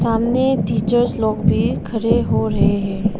सामने टीचर्स लोग भी खड़े हो रहे हैं।